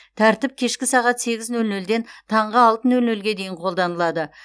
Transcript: тәртіп кешкі сағат сегіз нөл нөлден таңғы алты нөл нөлге дейін қолданылады